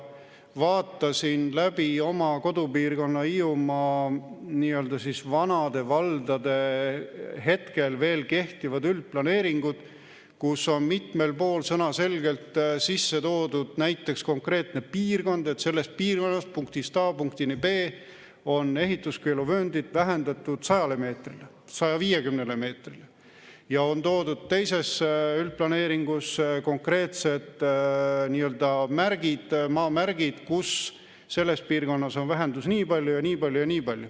Vaatasin läbi oma kodupiirkonna, Hiiumaa nii-öelda vanade valdade hetkel veel kehtivad üldplaneeringud, kus on mitmel pool sõnaselgelt sisse toodud näiteks konkreetne piirkond, et selles piirkonnas punktist A punktini B on ehituskeeluvööndit vähendatud 100 meetrile, 150 meetrile, ja on toodud teises üldplaneeringus konkreetsed märgid, maamärgid, kus selles piirkonnas on vähendus nii palju ja nii palju ja nii palju.